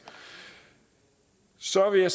så vil jeg